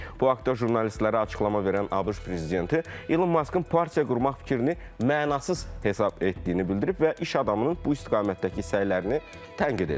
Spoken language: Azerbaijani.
Bu haqda jurnalistlərə açıqlama verən ABŞ prezidenti Elon Muskın partiya qurmaq fikrini mənasız hesab etdiyini bildirib və iş adamının bu istiqamətdəki səylərini tənqid edib.